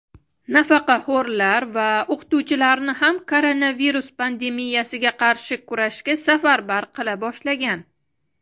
nafaqaxo‘rlar va o‘qituvchilarni ham koronavirus pandemiyasiga qarshi kurashga safarbar qila boshlagan.